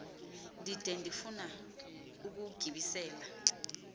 ndide ndifun ukuwugibisela